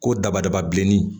Ko dabadaba bilennin